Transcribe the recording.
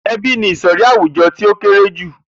E̩bí ni ìsò̩rí àwùjo̩ tí ó kéré jù